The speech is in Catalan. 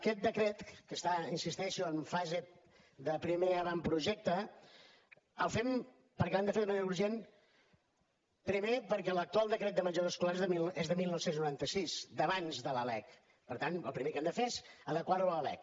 aquest decret que està hi insisteixo en fase de primer avantprojecte el fem perquè l’hem de fer de manera urgent primer perquè l’actual decret de menjador escolar és de dinou noranta sis d’abans de la lec per tant el primer que hem de fer és adequar lo a la lec